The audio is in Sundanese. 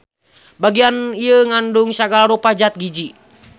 Bagian ieu ngandung sagala rupa zat giji.